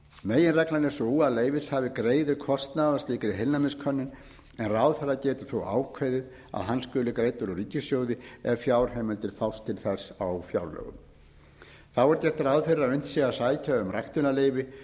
meginreglan er sú að leyfishafi greiði kostnað af slíkri heilnæmiskönnun en ráðherra geti þó ákveðið að hann skuli greiddur úr ríkissjóði ef fjárheimildir fást til þess á fjárlögum þá er gert ráð fyrir að unnt sé að sækja um ræktunarleyfi